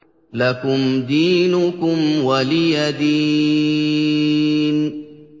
لَكُمْ دِينُكُمْ وَلِيَ دِينِ